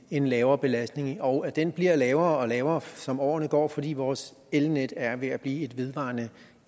en lavere belastning og den bliver lavere og lavere som årene går fordi vores elnet er ved at blive et vedvarende